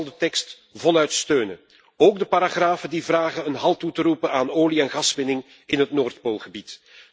Ik zal de tekst voluit steunen, ook de paragrafen die vragen een halt toe te roepen aan olie en gaswinning in het Noordpoolgebied.